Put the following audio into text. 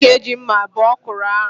Ọ ga-eji mma bee ọkwụrụ ahụ.